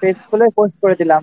page খুলে post করে দিলাম